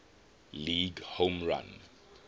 league home run